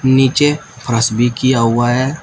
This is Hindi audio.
नीचे फरस भी किया हुआ है।